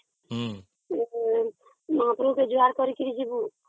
ହଁ ମହାପୁରୁଙ୍କୁ ଜୁହାର କରିକି ଯିବୁ